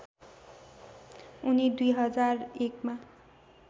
उनी २००१ मा